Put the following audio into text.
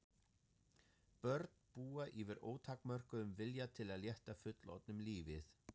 Börn búa yfir ótakmörkuðum vilja til að létta fullorðnum lífið.